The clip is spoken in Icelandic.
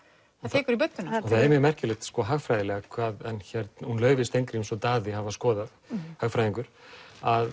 tekur í budduna það er mjög merkilegt hagfræðilega hún Laufey Steingríms og Daði hafa skoðað að